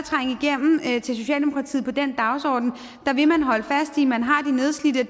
er til socialdemokratiet på den dagsorden vil man holde fast i at man har de nedslidte